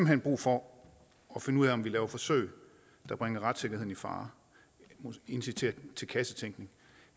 hen brug for at finde ud af om vi laver forsøg der bringer retssikkerheden i fare inviterer til kassetænkning